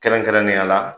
Kɛrɛnkɛrɛnnenya la